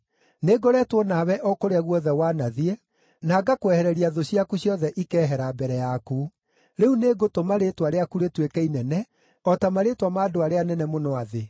Nĩ ngoretwo nawe o kũrĩa guothe wanathiĩ, na ngakwehereria thũ ciaku ciothe ikeehera mbere yaku. Rĩu nĩngũtũma rĩĩtwa rĩaku rĩtuĩke inene, o ta marĩĩtwa ma andũ arĩa anene mũno a thĩ.